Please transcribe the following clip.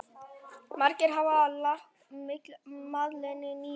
Margir hafa lagt málinu lið.